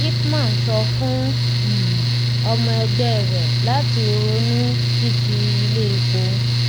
ipman sọ fún um ọmọ ẹgbẹ rẹ lati ronú títi ilé epo